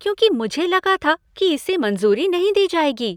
क्योंकि मुझे लगा था कि इसे मंजूरी नहीं दी जाएगी।